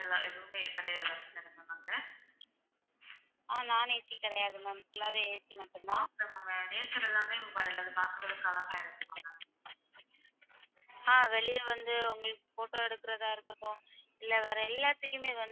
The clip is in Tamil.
அப்ப வெளிய வந்து photo எடுக்கிறது ஆகட்டும்.